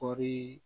Kɔɔri